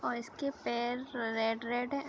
और इसके पैर रेड रेड हैं।